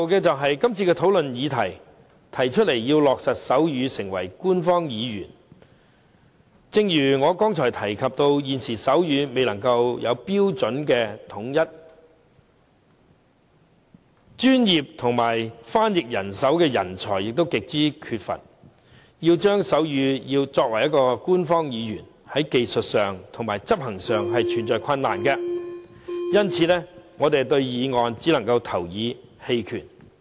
最後，這次討論的議題是提出要落實手語成為香港官方語言，正如我剛才提及，現時手語未有統一的標準，專業的手語翻譯人才又極為缺乏，要令手語成為官方語言，在技術和執行上存在困難，因此，我們對議案只能投以棄權票。